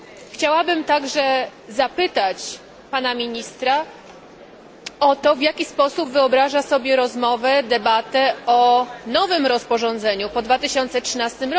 Chciałabym także zapytać Pana Ministra o to, w jaki sposób wyobraża sobie rozmowę, debatę o nowym rozporządzeniu po 2013